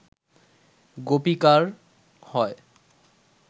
গোপিকার হয়